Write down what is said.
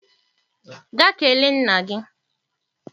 Gaa kelee nna gị!